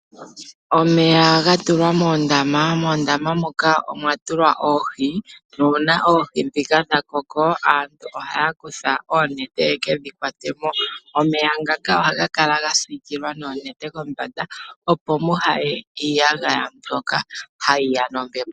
Omeya ga tulwa moondama. Moondama moka omwa tulwa oohi nuuna oohi ndhika dha koko aantu ohaya kutha oonete ye ke dhi kwate mo. Omeya ngaka ohaga kala ga siikilwa noonete kombanda, opo kaamu ye iiyagaya mbyoka hayi ya nombepo.